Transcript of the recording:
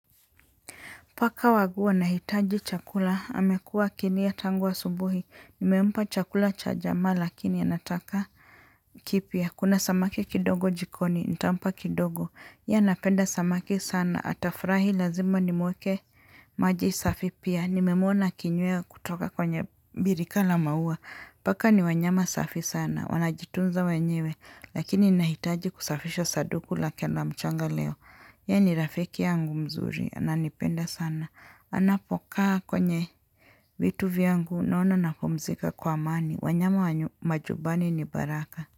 Paka wangu wa anahitaji chakula. Amekuwa akilia tangu asubuhi. Nimempa chakula cha jana lakini anataka kipya. Kuna samaki kidogo jikoni. Nitampa kidogo. Yeye anapenda samaki sana. Atafurahi lazima nimwekee maji safi pia. Nimemuona akinywa kutoka kwenye birika la maua. Paka ni wanyama safi sana. Wanajitunza wenyewe. Lakini nahitaji kusafisha sanduku lake na mchanga leo. Yeye ni rafiki yangu mzuri. Ananipenda sana. Anapokaa kwenye vitu vyangu. Naona napumzika kwa amani. Wanyama majubani ni baraka.